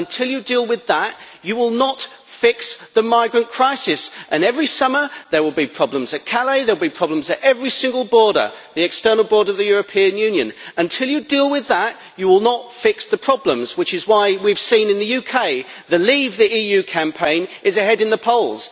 Until you deal with that, you will not fix the migrant crisis, and every summer there will be problems at Calais, there will be problems at every single border the external border of the European Union. Until you deal with that, you will not fix the problems, which is why in the UK we have seen the Leave the EU' campaign ahead in the polls.